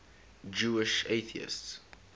jewish atheists